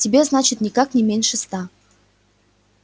тебе значит никак не меньше ста